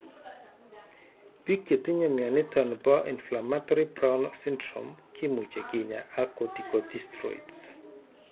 Pik chetinye mioniton po inflammatory Brown syndrome kimuche kinya ak corticosteroids.